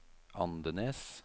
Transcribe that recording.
Andenes